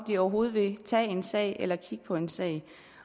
de overhovedet vil tage en sag eller kigge på en sag